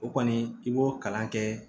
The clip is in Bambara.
O kɔni i b'o kalan kɛ